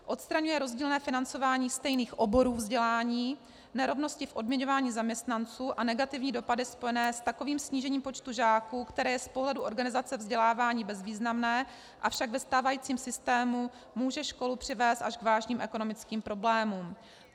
Odstraňuje rozdílné financování stejných oborů vzdělání, nerovnosti v odměňování zaměstnanců a negativní dopady spojené s takovým snížením počtu žáků, které je z pohledu organizace vzdělávání bezvýznamné, avšak ve stávajícím systému může školu přivést až k vážným ekonomickým problémům.